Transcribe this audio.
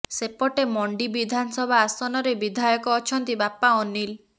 ସେପଟେ ମଣ୍ଡି ବିଧାନସଭା ଆସନରେ ବିଧାୟକ ଅଛନ୍ତି ବାପା ଅନୀଲ